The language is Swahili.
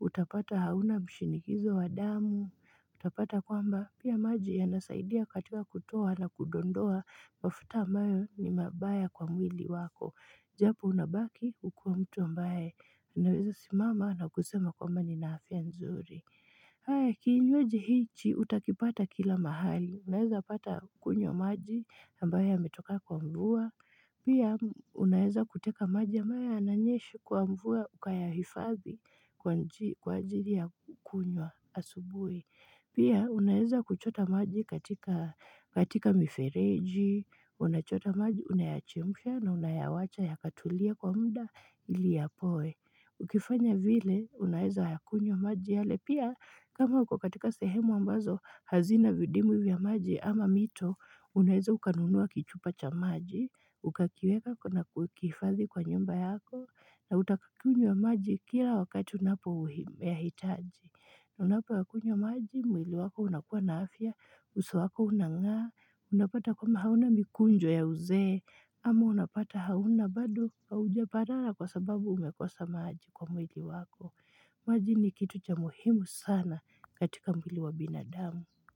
utapata hauna mshinikizo wa damu, utapata kwamba pia maji yanasaidia katika kutoa na kudondoa mafuta ambayo ni mabaya kwa mwili wako. Japo unabaki ukiwa mtu ambaye unaweza simama na kusema kwamba nina afya nzuri. Kinywaji hichi utakipata kila mahali. Unaeza pata kunywa maji ambaye ametoka kwa mvua. Pia unaeza kuteka maji ambayo yananyesha kwa mvua ukayahifathi kwa anji kwa ajiri ya kukunywa asubui. Pia unaeza kuchota maji katika mifereji. Ji, unachota maji, unayachemsha na unayawacha yakatulia kwa muda ili yapoe. Ukifanya vile, unaeza yakunywa maji yale pia kama uko katika sehemu ambazo hazina vidimwi vya maji ama mito, unaeza ukanunuwa kichupa cha maji, ukakiweka kwa na kukifadhi kwa nyumba yako, na utakakunywa maji kira wakati unapoyahitaji. Na unapoyakunywa maji, mwili wako unakuwa na afya, uso wako unangaa, unapata kwamba hauna mikunjo ya uzee, ama unapata hauna bado haujaparara kwa sababu umekosa maji kwa mwili wako. Maji ni kitu cha muhimu sana katika mwili wa binadamu.